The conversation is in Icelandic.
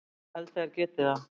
Já ég held að þeir geti það.